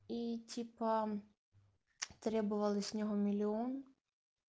и типа требовалось него миллион